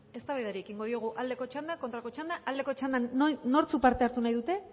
eztabaidari ekingo diogu aldeko txanda kontrako txanda aldeko txandan nortzuk parte hartu nahi dute